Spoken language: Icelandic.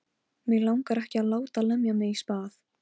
Mig langar ekki að láta lemja mig í spað.